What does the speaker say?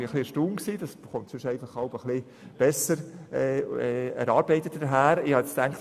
Wir waren erstaunt, zumal solche Anträge sonst besser erarbeitet präsentiert werden.